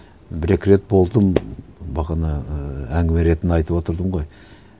бір екі рет болдым бағана і әңгіме ретінде айтып отырдым ғой